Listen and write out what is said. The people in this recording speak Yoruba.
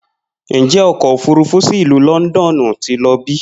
Njẹ ọkọ ofurufu si Ilu Lọndọnu ti lọ bi?